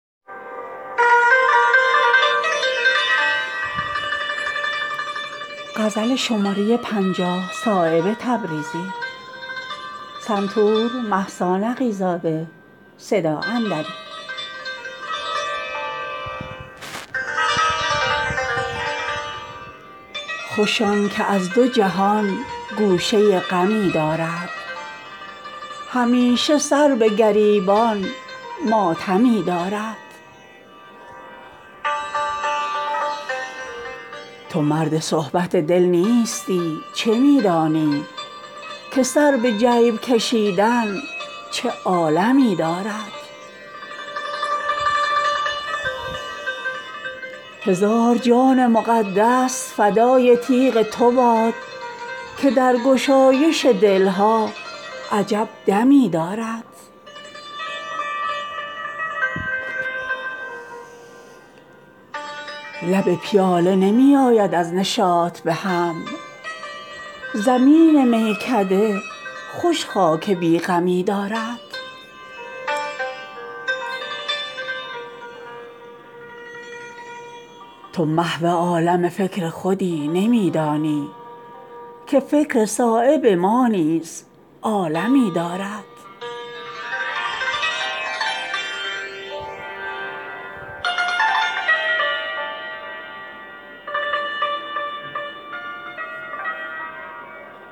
خوش آن که از دو جهان گوشه غمی دارد همیشه سر به گریبان ماتمی دارد تو مرد صحبت دل نیستی چه می دانی که سر به جیب کشیدن چه عالمی دارد اگر چه ملک عدم کم عمارت افتاده است غریب دامن صحرای خرمی دارد مکن ز رزق شکایت که کعبه با آن قدر ز تلخ و شور همین آب زمزمی دارد هزار جان مقدس فدای تیغ تو باد که در گشایش دلها عجب دمی دارد لب پیاله نمی آید از نشاط بهم زمین میکده خوش خاک بی غمی دارد مباد پنجه جرأت در آستین دزدی کمان چرخ مقوس همین دمی دارد تو محو عالم فکر خودی نمی دانی که فکر صایب ما نیز عالمی دارد